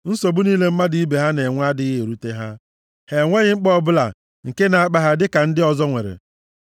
Nsogbu niile mmadụ ibe ha na-enwe adịghị erute ha. Ha enweghị mkpa ọbụla nke na-akpa ha dịka ndị ọzọ nwere.